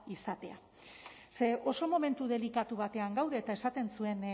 izatea ze oso momentu delikatu batean gaude eta esaten zuen